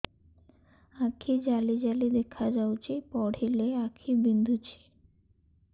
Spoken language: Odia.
ଆଖି ଜାଲି ଜାଲି ଦେଖାଯାଉଛି ପଢିଲେ ଆଖି ବିନ୍ଧୁଛି